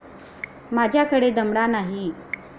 माझ्याकडे दमडा नाही.